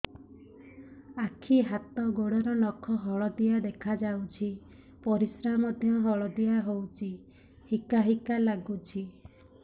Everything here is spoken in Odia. ଆଖି ହାତ ଗୋଡ଼ର ନଖ ହଳଦିଆ ଦେଖା ଯାଉଛି ପରିସ୍ରା ମଧ୍ୟ ହଳଦିଆ ହଉଛି ହିକା ହିକା ଲାଗୁଛି